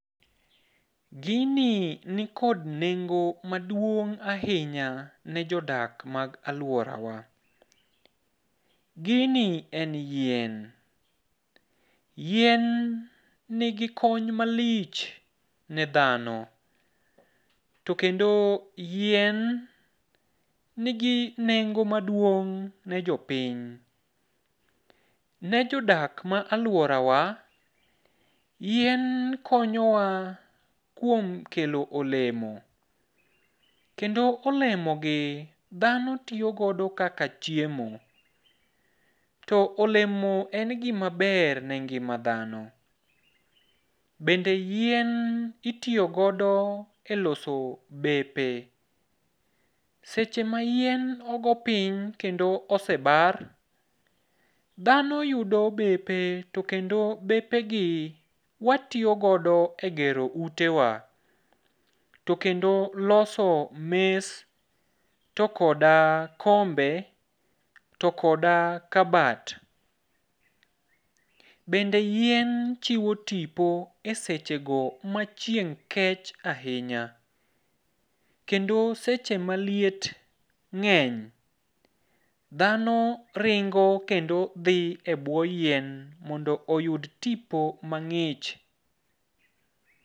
Gini nikod nengo maduong' ahinya ne jodak mag aluora wa. Gini en yien, yien nigi kony malich ne dhano to kendo yien nigi nengo maduong' ne jopiny. Ne jodak ma aluorawa, yien konyowa kuom kelo olemo kendo olemogi dhano tiyo godo kaka chiemo to olemo en gima ber ne ngima dhano bende yien itiyo godo eloso bepe. Seche ma yien ogo piny kendo osebar, dhano yudo bepe to kendo bepegi watiyo godo egero utewa. To kendo loso mes to koda kombe to koda kabat. Bende yien chiwo tipo esechego ma chieng' kech ahinya. Kendo seche maliet ng'eny dhano ringo kendo dhi ebwo yien mondo oyud tipo mang'ich